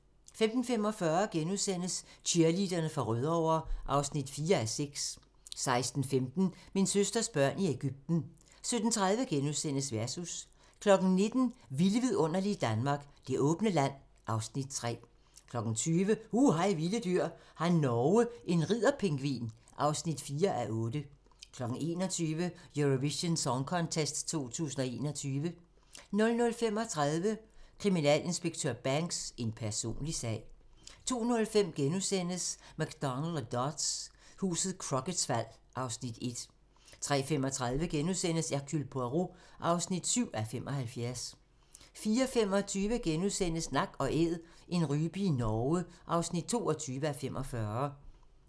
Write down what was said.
15:45: Cheerleaderne fra Rødovre (4:6)* 16:15: Min søsters børn i Ægypten 17:30: Versus * 19:00: Vilde vidunderlige Danmark - Det åbne land (Afs. 3) 20:00: Hu hej vilde dyr: Har Norge en ridder-pingvin? (4:8) 21:00: Eurovision Song Contest 2021 00:35: Kriminalinspektør Banks: En personlig sag 02:05: McDonald og Dodds: Huset Crocketts fald (Afs. 1)* 03:35: Hercule Poirot (7:75)* 04:25: Nak & æd - en rype i Norge (22:45)*